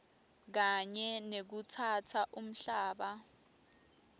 kanye nekutsatsa umhlaba